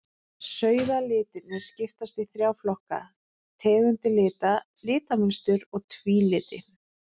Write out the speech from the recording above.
Sauðalitirnir skiptast í þrjá flokka, tegundir lita, litamynstur og tvíliti.